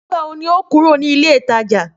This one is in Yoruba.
Nígbà wo ní óò kúrò ní ilé ìtajà?